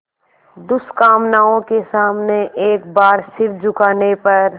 दुष्कामनाओं के सामने एक बार सिर झुकाने पर